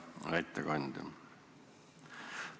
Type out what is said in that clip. Hea ettekandja!